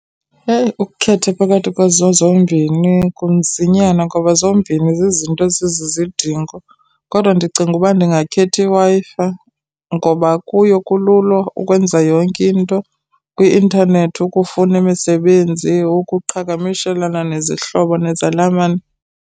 Eyi ukukhetha phakathi kwezo zombini kunzinyana ngoba zombini zizinto ezizizidingo. Kodwa ndicinga uba ndingakhetha iWi-Fi ngoba kuyo kulula ukwenza yonke into kwi-intanethi, ukufuna imisebenzi ukuqhagamshelana nezihlobo nezalamane.